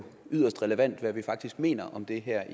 yderst relevant hvad vi faktisk mener om de her